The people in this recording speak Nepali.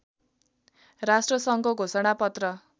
राष्ट्रसङ्घको घोषणा पत्र